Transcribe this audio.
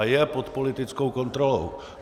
A je pod politickou kontrolou.